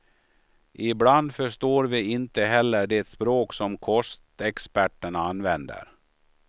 Ibland förstår vi inte heller det språk som kostexperterna använder.